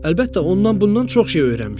Əlbəttə, ondan-bundan çox şey öyrənmişəm.